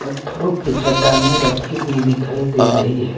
पत्थरों की चट्टाने रखी हुई दिखाई दे रही हैं।